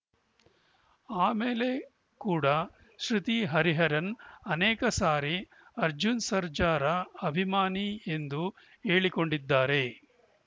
ಆಮೇಲೆ ಕೂಡ ಶ್ರುತಿ ಹರಿಹರನ್‌ ಅನೇಕ ಸಾರಿ ಅರ್ಜುನ್‌ ಸರ್ಜಾರ ಅಭಿಮಾನಿ ಎಂದು ಹೇಳಿಕೊಂಡಿದ್ದಾರೆ